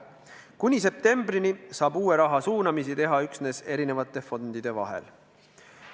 Kuni septembrini saab uue raha suunamisi teha üksnes eri fondide vahel.